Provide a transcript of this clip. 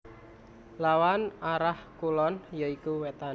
Lawan arah kulon ya iku Wétan